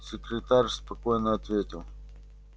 секретарь спокойно ответил